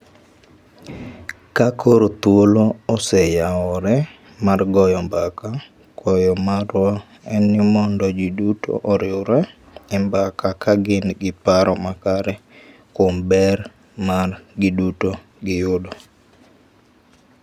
Ka koro thuolo oseyawore mar goyo mbaka, kwayo marwa en ni mondo ji duto oriwre e mbaka ka gin gi paro makare kuom ber ma giduto giyudo.